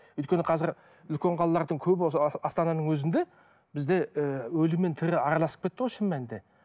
өйткені қазір үлкен қалалардың көбі осы астананың өзінде бізде і өлі мен тірі араласып кетті ғой шын мәнінде